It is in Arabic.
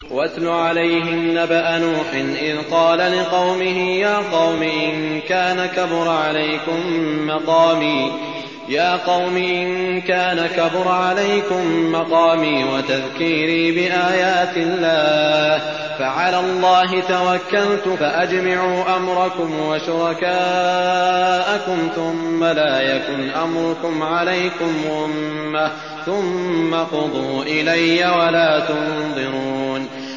۞ وَاتْلُ عَلَيْهِمْ نَبَأَ نُوحٍ إِذْ قَالَ لِقَوْمِهِ يَا قَوْمِ إِن كَانَ كَبُرَ عَلَيْكُم مَّقَامِي وَتَذْكِيرِي بِآيَاتِ اللَّهِ فَعَلَى اللَّهِ تَوَكَّلْتُ فَأَجْمِعُوا أَمْرَكُمْ وَشُرَكَاءَكُمْ ثُمَّ لَا يَكُنْ أَمْرُكُمْ عَلَيْكُمْ غُمَّةً ثُمَّ اقْضُوا إِلَيَّ وَلَا تُنظِرُونِ